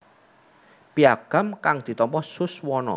Piagam kang ditampa Suswono